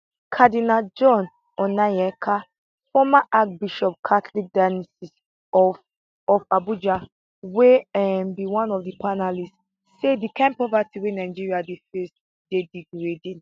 cardinal john onaiyekan former archbishop catholic diocese of of abuja wey um be one of di panelists say di kain poverty wey nigeria dey face dey degrading